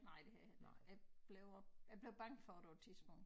Nej det har jeg heller ikke jeg blev øh jeg blev bange for dem på et tidspunkt